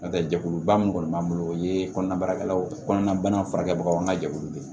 N'o tɛ jɛkuluba min kɔni b'an bolo o ye kɔnɔnabaarakɛlaw kɔnɔna bana furakɛbagaw an ka jɛkulu de